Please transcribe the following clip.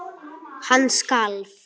Hann skalf.